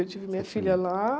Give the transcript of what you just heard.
Eu tive minha filha lá.